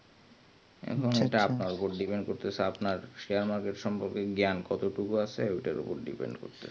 সেটা আপনার ওপর depend করতেছে share market সমন্ধে জ্ঞান কতটুকু আছে ওটার ওপর depend করছে